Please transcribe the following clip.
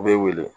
U bɛ wele